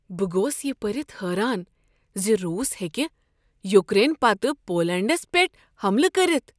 بہ گوس یہ پٔرتھ حیران ز روس ہیکہِ یوکرین پتہٕ پولینڈس پیٹھ حملہٕ کٔرتھ۔